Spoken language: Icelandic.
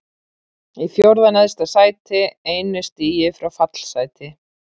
Í fjórða neðsta sæti, einu stigi frá fallsæti.